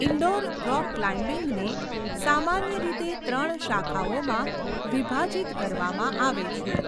Indoor rock ક્લાઇમ્બીંગને સામાન્ય રીતે ત્રણ શાખાઓમાં વિભાજિત કરવામાં આવે છે.